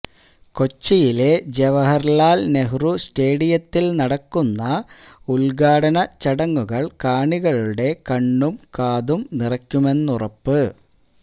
കൊച്ചിയിലെ ജവഹര്ലാല് നെഹ്റു സ്റ്റേഡിയത്തില് നടക്കുന്ന ഉദ്ഘാടനച്ചടങ്ങുകള് കാണികളുടെ കണ്ണും കാതും നിറയ്ക്കുമെന്നുറപ്പ്